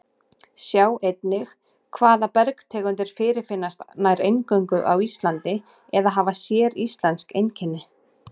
Sjá einnig Hvaða bergtegundir fyrirfinnast nær eingöngu á Íslandi eða hafa séríslensk einkenni?